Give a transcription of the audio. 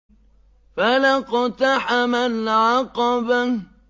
فَلَا اقْتَحَمَ الْعَقَبَةَ